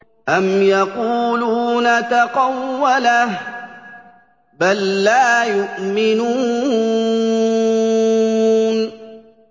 أَمْ يَقُولُونَ تَقَوَّلَهُ ۚ بَل لَّا يُؤْمِنُونَ